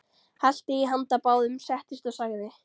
Hellti í handa báðum, settist og sagði